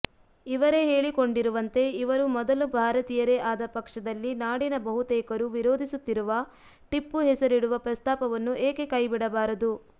ಇವರೇ ಹೇಳಿಕೊಂಡರುವಂತೆ ಇವರು ಮೊದಲು ಭಾರತೀಯರೇ ಆದ ಪಕ್ಷದಲ್ಲಿ ನಾಡಿನ ಬಹುತೇಕರು ವಿರೋಧಿಸುತ್ತಿರುವ ಟಿಪ್ಪು ಹೆಸರಿಡುವ ಪ್ರಸ್ತಾಪವನ್ನು ಏಕೆ ಕೈಬಿಡಬಾರದು